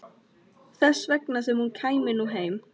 Þess vegna sem hún kæmi nú heim.